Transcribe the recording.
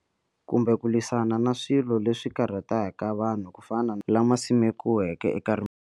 Kumbe ku lwisana na swilo leswi karhataka vanhu ku fana lama simekiweke eka rimbewu.